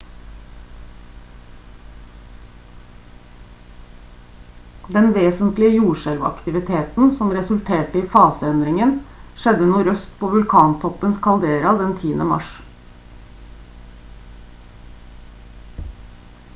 den vesentlige jordskjelvaktiviteten som resulterte i fase-endringen skjedde nordøst på vulkantoppens kaldera den 10. mars